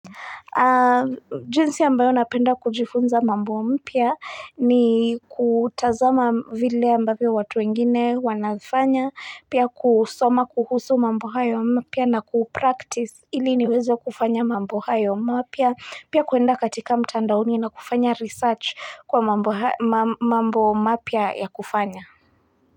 Jinsi ambayo napenda kujifunza mambo mpya ni kutazama vile ambavyo watu wengine wanafanya, pia kusoma kuhusu mambo hayo mapya na kupractice ili niweze kufanya mambo hayo mapya, pia kuenda katika mtandaoni na kufanya research kwa mambo mapya ya kufanya.